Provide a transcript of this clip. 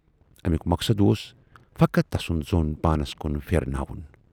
اَمیُک مقصد اوس فقط تسُند ظۅن پانَس کُن پھِرٕناوُن۔